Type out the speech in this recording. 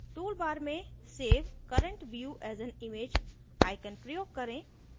tool bar में save current view as an image icon प्रयोग करें